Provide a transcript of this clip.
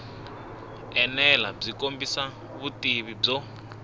enela byi kombisa vutivi byo